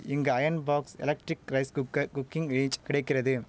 இங்கு iron box electric rice cooker cooking ஏச் கிடைக்கிறது